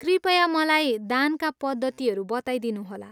कृपया मलाई दानका पद्धतिहरू बताइदिनुहोला।